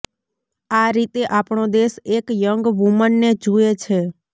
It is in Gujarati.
આ રીતે આપણો દેશ એક યંગ વુમનને જુએ છે